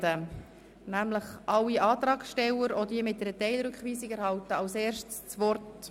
So erhalten alle Antragssteller, auch diejenigen, die eine Teilrückweisung verlangen, als Erstes das Wort.